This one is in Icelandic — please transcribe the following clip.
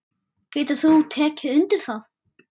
Getur þú tekið undir það?